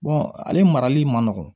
ale marali man nɔgɔn